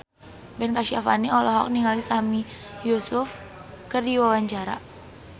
Ben Kasyafani olohok ningali Sami Yusuf keur diwawancara